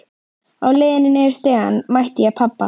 Á leiðinni niður stigann mæti ég pabba.